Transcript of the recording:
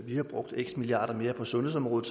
vi havde brugt x milliarder mere på sundhedsområdet